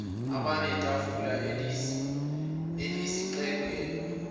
abane itafulana elixegelwa